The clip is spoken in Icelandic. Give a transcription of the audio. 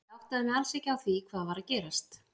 Ég áttaði mig alls ekki á því hvað var að gerast.